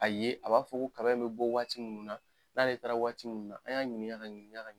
A ye a b'a fɔ ko kaba in bɛ bɔ waati mun na n'ale taara waati mun na an y'a ɲininka ka ɲɛ.